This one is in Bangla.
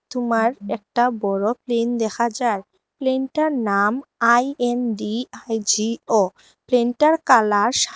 তুমার একটা বড়ো প্লেন দেখা যার প্লেন -টার নাম আই_এন_ডি_আই_জি_ও প্লেন -টার কালার সা --